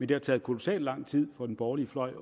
det har taget kolossalt lang tid for den borgerlige fløj